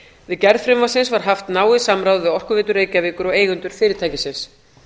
við gerð frumvarpsins var haft náið samráð við orkuveitu reykjavíkur og eigendur fyrirtækisins